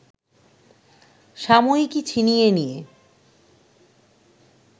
সাময়িকী ছিনিয়ে নিয়ে